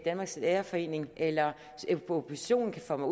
danmarks lærerforening eller oppositionen kan få mig